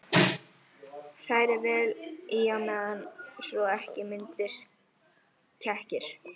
Hrærið vel í á meðan svo ekki myndist kekkir.